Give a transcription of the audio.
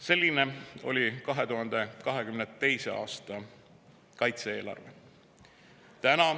Selline oli 2022. aasta kaitse-eelarve.